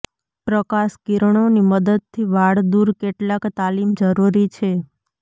પ્રકાશ કિરણો ની મદદથી વાળ દૂર કેટલાક તાલીમ જરૂરી છે